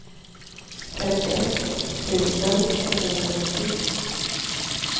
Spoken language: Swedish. femtioett tusen etthundranittio